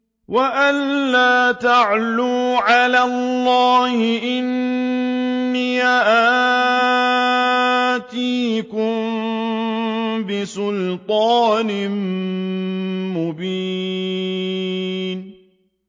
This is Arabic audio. وَأَن لَّا تَعْلُوا عَلَى اللَّهِ ۖ إِنِّي آتِيكُم بِسُلْطَانٍ مُّبِينٍ